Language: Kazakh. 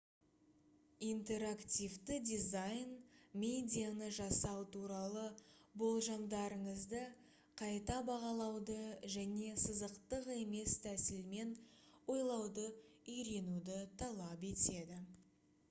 интерактивті дизайн медианы жасау туралы болжамдарыңызды қайта бағалауды және сызықтық емес тәсілмен ойлауды үйренуді талап етеді